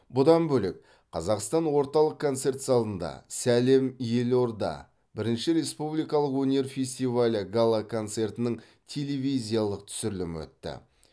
бұдан бөлек қазақстан орталық концерт залында сәлем елорда бірінші республикалық өнер фестивалі гала концертінің телевизиялық түсірілімі өтті